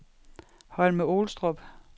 Holme-Olstrup